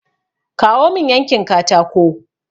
Kawo mun yankin katako!